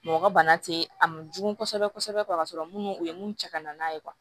Mɔgɔ ka bana te a ma jugu kosɛbɛ kosɛbɛ ka sɔrɔ munnu u ye mun cɛ ka na n'a ye